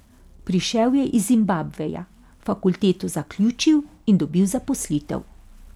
Prišel je iz Zimbabveja, fakulteto zaključil in dobil zaposlitev.